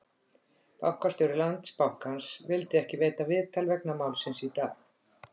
Bankastjóri Landsbankans vildi ekki veita viðtal vegna málsins í dag?